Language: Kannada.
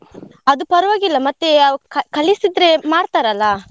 ಅದು ಪರವಾಗಿಲ್ಲ ಮತ್ತೆ ಕಲಿಸಿದ್ರೆ ಮಾಡ್ತಾರೆ ಅಲ್ಲಾ.